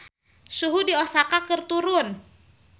Suhu di Osaka keur turun